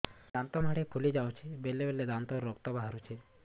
ଦାନ୍ତ ମାଢ଼ି ଫୁଲି ଯାଉଛି ବେଳେବେଳେ ଦାନ୍ତରୁ ରକ୍ତ ବାହାରୁଛି